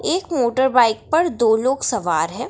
एक motor bike पर दो लोग सवार है।